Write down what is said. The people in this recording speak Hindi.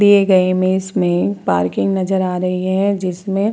दिए गए इमेज में पार्किंग नजर आ रही है जिसमें --